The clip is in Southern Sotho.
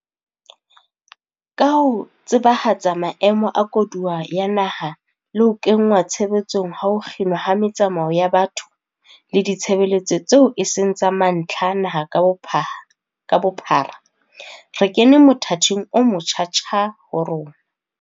Ka ho tsebahatsa maemo a koduwa ya naha le ho kenngwa tshebetsong ha ho kginwa ha metsamao ya batho le ditshebeletso tseo eseng tsa mantlha naha ka bophara, re kene mothating omotjha-tjha ho rona.